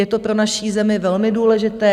Je to pro naši zemi velmi důležité.